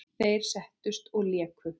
Þeir settust og léku.